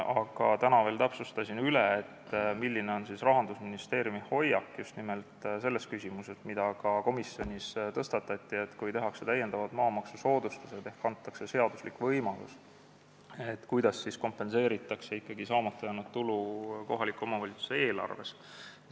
Aga täna veel täpsustasin üle, milline on Rahandusministeeriumi hoiak just nimelt selles küsimuses, mille ma ka komisjonis tõstatasin, et kui tehakse täiendavad maamaksusoodustused ehk antakse selline seaduslik võimalus, kuidas siis ikkagi kompenseeritakse saamata jäänud tulu kohaliku omavalitsuse eelarves.